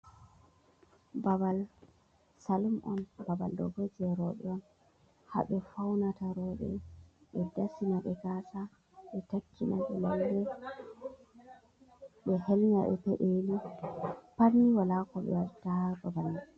Babal salum on, babal ɗo bo jei rowɓe on, ha ɓe faunata rowɓe, ɓe dasina ɓe gasa, ɓe takkina ɓe lalle, ɓe helnya ɓe peɗeli. Patni wala ko ɓe watta ha babal mai.